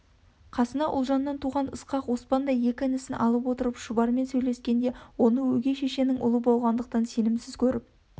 қасына ұлжаннан туған ысқақ оспандай екі інісін алып отырып шұбармен сөйлескенде оны өгей шешенің ұлы болғандықтан сенімсіз көріп